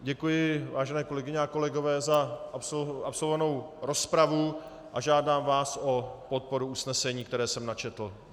Děkuji, vážené kolegyně a kolegové, za absolvovanou rozpravu a žádám vás o podporu usnesení, které jsem načetl.